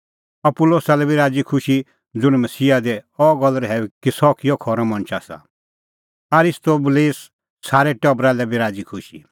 अपूलोसा लै बी राज़ी खुशी ज़ुंणी मसीहा दी अह गल्ल रहैऊई कि सह किहअ खरअ मणछ आसा आरिस्तोबुलसे सारै टबरा लै बी राज़ीखुशी